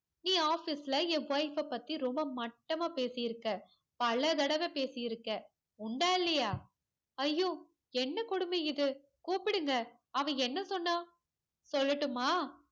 என் office ல என் wife அ பத்தி ரொம்ப மட்டமா பேசிருக்க பலதடவ பேசிருக்க உண்டா இல்லையா ஐயோ என்ன கொடும இது கூப்டுங்க அவ என்ன சொன்னா சொல்லட்டுமா